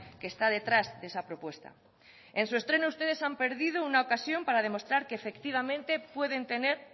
que está detrás de esa propuesta en su estreno ustedes han perdido una ocasión para demostrar que efectivamente pueden tener